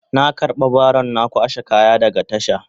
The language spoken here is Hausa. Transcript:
Na karba baron na kwashe kaya daga tasha.